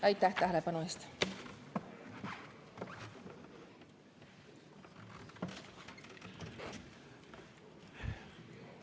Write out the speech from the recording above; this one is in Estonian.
Aitäh tähelepanu eest!